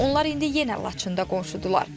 Onlar indi yenə Laçında qonşudular.